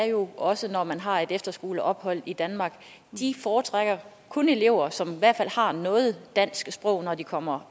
jo er også når man har et efterskoleophold i danmark foretrækker elever som i hvert fald har noget dansk sprog når de kommer